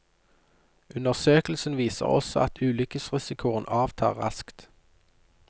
Undersøkelsen viser også at ulykkesrisikoen avtar raskt.